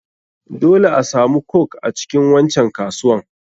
Dole asamu coke a cikin wancan kasuwan.